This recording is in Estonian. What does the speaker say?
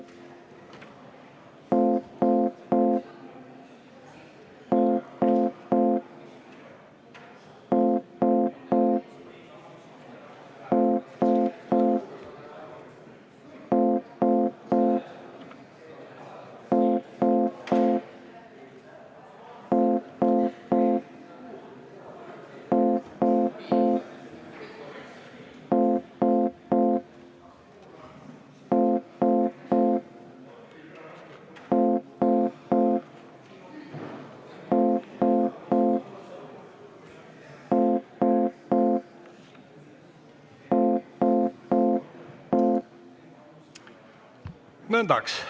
Nõndaks.